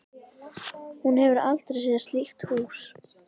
Hún hefur aldrei séð slíkt hús.